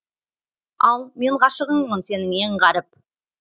ал мен ғашығыңмын сенің ең ғаріп